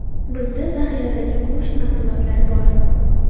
Bizda zaxiradagi go‘sht mahsulotlari bor.